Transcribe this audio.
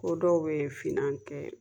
Ko dɔw bɛ finan kɛ